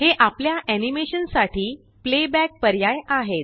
हे आपल्या आनिमेशन साठी प्लेबॅक पर्याय आहेत